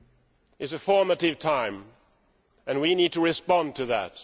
It is a formative time and we need to respond to that.